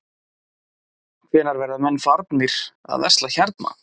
Hvenær verða menn farnir að versla hérna?